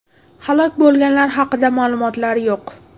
Halok bo‘lganlar haqida ma’lumotlar yo‘q.